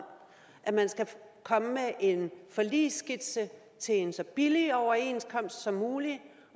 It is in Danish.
at man skal komme med en forligsskitse til en så billig overenskomst som muligt